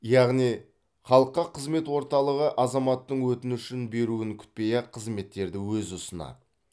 яғни халыққа қызмет орталығы азаматтың өтініш беруін күтпей ақ қызметтерді өзі ұсынады